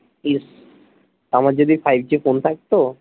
এ বাবা ইস আমার যদি five g ফোন থাকতো